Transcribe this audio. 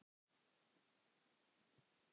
En svona er lífið.